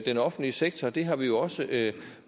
den offentlige sektor det har vi jo også